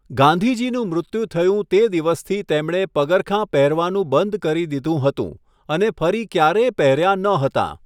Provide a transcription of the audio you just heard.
ગાંધીજીનું મૃત્યુ થયું તે દિવસથી તેમણે પગરખાં પહેરવાનું બંધ કરી દીધું હતું અને ફરી ક્યારેય પહેર્યા ન હતાં.